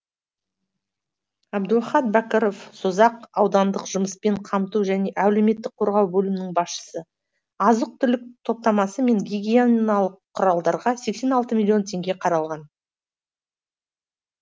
әбдуахат бәкіров созақ аудандық жұмыспен қамту және әлеуметтік қорғау бөлімінің басшысы азық түлік топтамасы мен гигиеналық құралдарға сексен алты миллион теңге қаралған